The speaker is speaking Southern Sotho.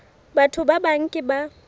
batho ba bang ke ba